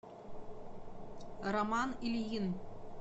роман ильин